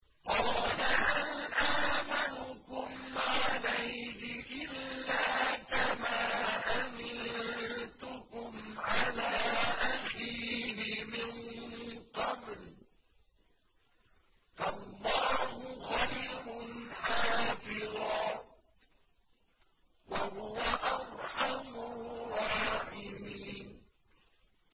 قَالَ هَلْ آمَنُكُمْ عَلَيْهِ إِلَّا كَمَا أَمِنتُكُمْ عَلَىٰ أَخِيهِ مِن قَبْلُ ۖ فَاللَّهُ خَيْرٌ حَافِظًا ۖ وَهُوَ أَرْحَمُ الرَّاحِمِينَ